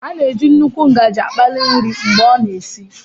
A na-eji nnukwu ngaji akpali nri mgbe ọ na-esi